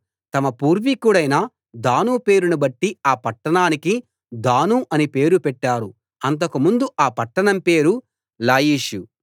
తమ పూర్వీకుడైన దాను పేరును బట్టి ఆ పట్టణానికి దాను అని పేరు పెట్టారు అంతకు ముందు ఆ పట్టణం పేరు లాయిషు